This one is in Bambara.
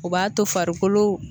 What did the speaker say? U b'a to farikolo